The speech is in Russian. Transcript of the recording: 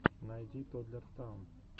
найди тоддлер таун